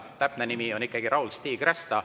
Täpne nimi on Raul-Stig Rästa.